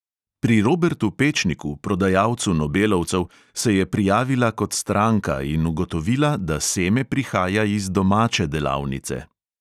Pri robertu pečniku, prodajalcu nobelovcev, se je prijavila kot stranka in ugotovila, da seme prihaja iz domače delavnice.